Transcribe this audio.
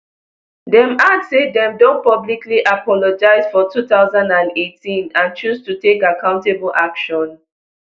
dem add say dem don publicly apologise for two thousand and eighteen and choose to take accountable action